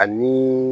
Ani